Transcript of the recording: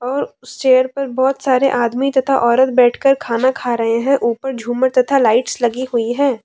और उस चेयर पे बहुत सारे आदमी तथा औरत बैठकर खाना खा रहे हैं ऊपर झूमर तथा लाइट्स लगी हुई है।